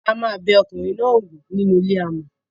a máa bẹ ọkùnrin náà wò nínú ilé amò.